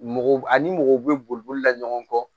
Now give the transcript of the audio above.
Mɔgɔw ani mɔgɔw bɛ bolila ɲɔgɔn kɔ